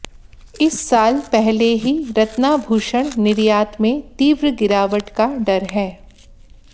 इस साल पहले ही रत्नाभूषण निर्यात में तीव्र गिरावट का डर है